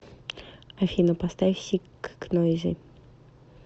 афина поставь сик к нойзи